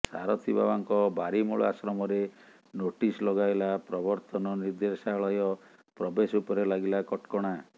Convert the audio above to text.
ସାରଥିବାବାଙ୍କ ବାରିମୂଳ ଆଶ୍ରମରେ ନୋଟିସ୍ ଲଗାଇଲା ପ୍ରବର୍ତ୍ତନ ନିର୍ଦ୍ଦେଶାଳୟ ପ୍ରବେଶ ଉପରେ ଲାଗିଲା କଟକଣା